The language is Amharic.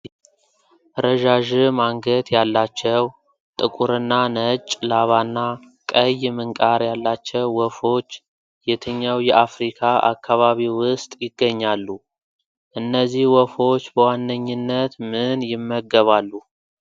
ረዣዥም አንገት ያላቸው፣ ጥቁርና ነጭ ላባና ቀይ ምንቃር ያላቸው ወፎች የትኛው የአፍሪካ አካባቢ ውስጥ ይገኛሉ? እነዚህ ወፎች በዋነኝነት ምን ይመገባሉ?